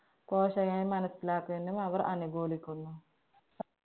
മനസിലാക്കി അവര്‍ അനുകൂലിക്കുന്നു.